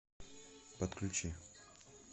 подключи